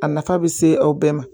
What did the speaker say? A nafa bɛ se aw bɛɛ ma